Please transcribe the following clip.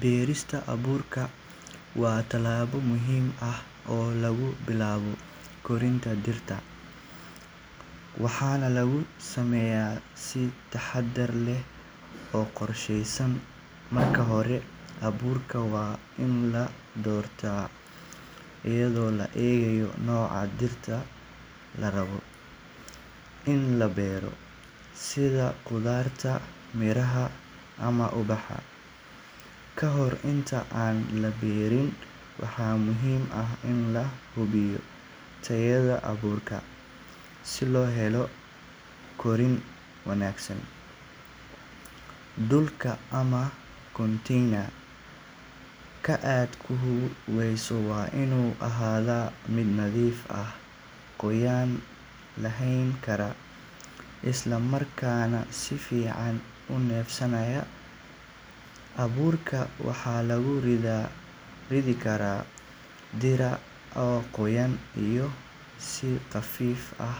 Beerista abuurka waa tilaabo muhiim ah, waxaana lagu sameeya si taxadar leh, marka hore waan in la doorto, sida qudarta, miraha ama ubaxa, waxaa muhiim ah in la hubiyo tayada abuurka, dulka waa inuu ahaada mid nadiif ah, isla markaana si fican uneefsanayaa, waxaa lagu ridi karaa dirac nadiif ah,